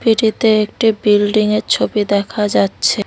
একটি বিল্ডিংয়ের ছবি দেখা যাচ্ছে।